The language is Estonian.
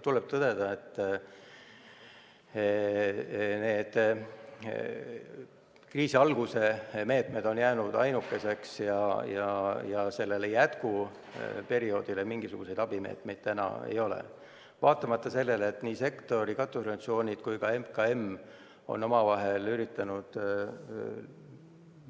Tuleb tõdeda, et kriisi alguse meetmed on jäänud ainukeseks ja jätkuperioodiks mingisuguseid abimeetmeid täna ei ole, vaatamata sellele, et nii sektori katusorganisatsioonid kui ka MKM on koos üritanud